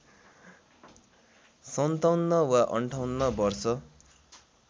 ५७ वा ५८ वर्ष